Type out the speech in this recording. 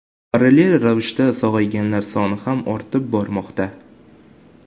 Parallel ravishda sog‘ayganlar soni ham ortib bormoqda.